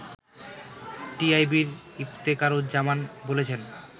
টিআইবির ইফতেখারুজ্জামান বলেছেন